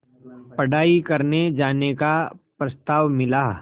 पढ़ाई करने जाने का प्रस्ताव मिला